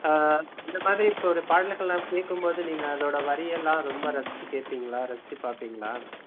அஹ் இந்த மாதிரி இப்ப ஒரு பாடல்கள்லாம் கேட்கும் போது நீங்க அதோட வரியெல்லாம் ரொம்ப ரசிச்சி கேப்பீங்களா ரசிச்சி பாப்பிங்களா?